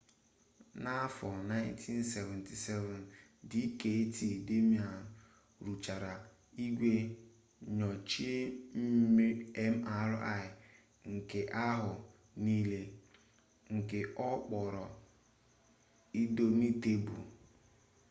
n'afọ 1977 dkt damadian rụchara igwe nnyocha mri nke ahụ niile nke ọ kpọrọ indọmitebul